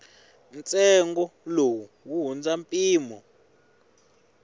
ntsengo lowu wu hundza mpimo